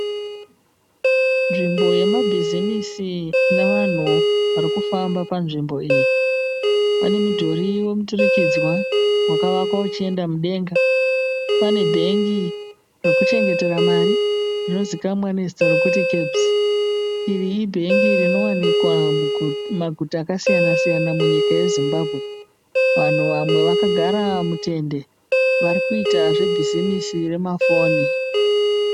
Nzvimbo yemabhizimisi ine vanhu varikufamba panzvimbo iyi. Pane mudhuri wemuturikanidzwa wakavakwa ichienda mudenga pane Bank roluchengeta mari rinozivikanwa kunzi (Cabs).Iri ibhengi rinowanikwa mumaguta mazhinji muzimbabwe. vanhu vamwe vakagara mutende varikuita zvebhuzimusi remafoni.